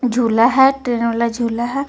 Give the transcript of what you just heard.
झुला है वाला झुला है.